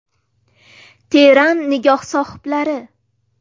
Teran nigoh sohiblari.